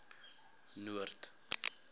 noord